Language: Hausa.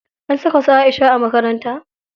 An saka su Aisha a makaranta?